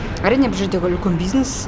әрине бұл жердегі үлкен бизнес